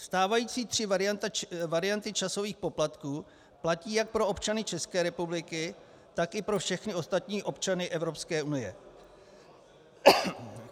Stávající tři varianty časových poplatků platí jak pro občany České republiky, tak i pro všechny ostatní občany Evropské unie.